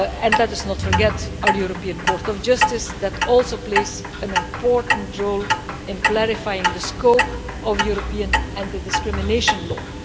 Let us not forget our European Court of Justice, that also plays an important role in clarifying the scope of European anti discrimination law.